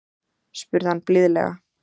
spurði hann blíðlega.